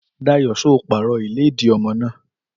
Dàyó só pàró ìlé dí ọmọ nà?